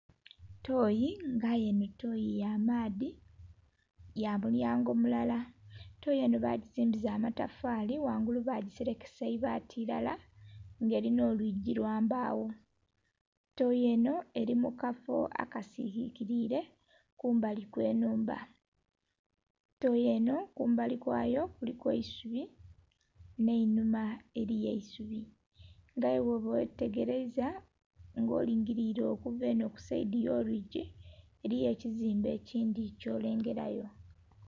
Tooyi nga, aye toyi ya maadhi ya mulyango mulala. Tooyi enho bagizimbisa matafali ghaigulu bagiselekesa eibaati ilala nga elinha oluigi lwa mbagho tooyi enho eli mu kafo akasirikirile kumbali kw'enhumba. Tooyi enho kumbali kwayo kuliku eisubi nh'einuma eliyo eisubi nga aye bwoba ghetegeleiza, nga olingilile okuva enho ku saidi y'oluigi eliyo ekizimbe ekindhi ky'olengelayo.